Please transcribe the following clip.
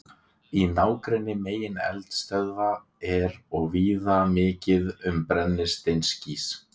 Í nágrenni megineldstöðva er og víða mikið um brennisteinskís.